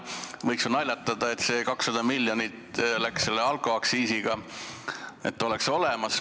Võiks ju naljatada, et see 200 miljonit läks kaotsi alkoaktsiisi tõttu, see raha oleks muidu olemas.